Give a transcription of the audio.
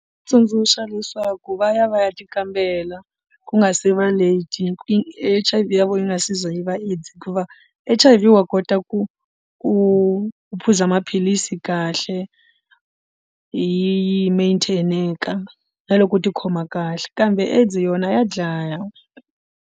Tsundzuxa leswaku va ya va ya ti kambela ku nga se va late H_I_V ya vona yi nga se za yi va AIDS hikuva H_I_V wa kota ku ku phuza maphilisi kahle yi yi na loko u ti khoma kahle kambe AIDS yona ya dlaya.